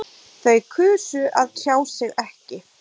Þau kusu að tjá sig ekki